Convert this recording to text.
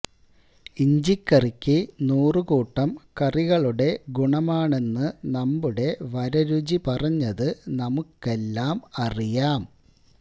ഇഞ്ചിക്കറിയ്ക്ക് നൂറ് കൂട്ടം കറികളുടെ ഗുണമാണെന്ന് നമ്മുടെ വരരുചി പറഞ്ഞത് നമുക്കെല്ലാം അറിയാം